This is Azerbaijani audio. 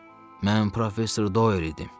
Mən professor Doyel idim.